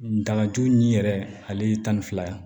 Ngalajugu min yɛrɛ ale ye tan ni fila ye